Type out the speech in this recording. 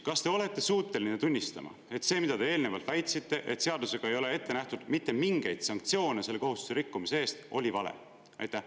Kas te olete suuteline tunnistama, et see, mida te eelnevalt väitsite, et seadusega ei ole ette nähtud mitte mingeid sanktsioone selle kohustuse rikkumise eest, oli vale?